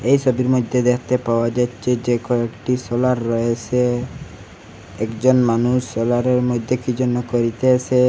এই সবির মইধ্যে দেখতে পাওয়া যাচ্ছে যে কয়েকটি সোলার রয়েসে একজন মানুষ সোলারের মধ্যে কী যেন করিতেসে।